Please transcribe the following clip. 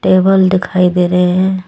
Table दिखाई दे रहे हैं।